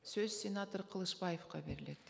сөз сенатор қылышбаевқа беріледі